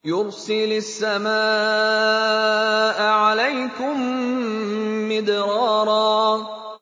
يُرْسِلِ السَّمَاءَ عَلَيْكُم مِّدْرَارًا